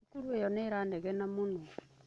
Cukuru ĩyo nĩ ĩranegena mũno.